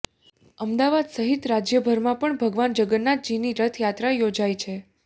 અમદાવાદ સહિત રાજ્યભરમાં પણ ભગવાન જગન્નાથજીની રથયાત્રા યોજાઇ છે